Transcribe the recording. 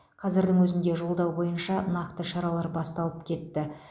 қазірдің өзінде жолдау бойынша нақты шаралар басталып кетті